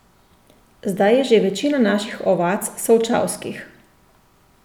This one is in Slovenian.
Zdaj je že večina naših ovac solčavskih.